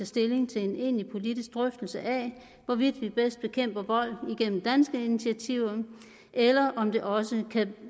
stilling til en egentlig politisk drøftelse af hvorvidt vi bedst bekæmper vold igennem danske initiativer eller om det også kan